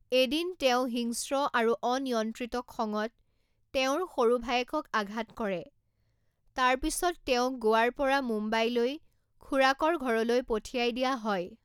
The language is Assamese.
এদিন তেওঁ হিংস্ৰ আৰু অনিয়ন্ত্ৰিত খঙত তেওঁৰ সৰু ভায়েকক আঘাত কৰে, তাৰ পিছত তেওঁক গোৱাৰ পৰা মুম্বাইলৈ খুৰাকৰ ঘৰলৈ পঠিয়াই দিয়া হয়।